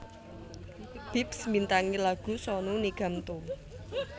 Bips mbintangi lagu Sonu Nigam Tu